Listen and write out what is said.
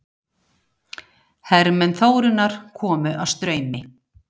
Hermenn Þórunnar komu að Straumi.